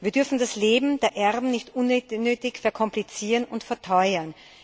Wir dürfen das Leben der Erben nicht unnötig verkomplizieren und verteuern.